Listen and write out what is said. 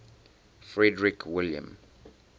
frederick william